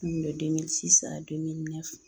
n